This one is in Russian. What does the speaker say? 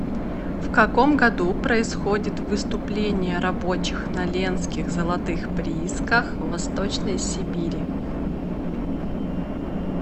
в каком году происходит выступление рабочих на ленских золотых приисках в восточной сибири